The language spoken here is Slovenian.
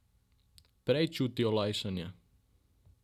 Prej čuti olajšanje.